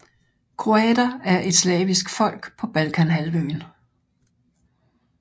Kroater er et slavisk folk på Balkanhalvøen